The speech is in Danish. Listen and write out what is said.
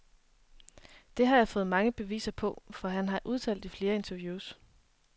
Det har jeg fået mange beviser på, for han har udtalt i flere interviews.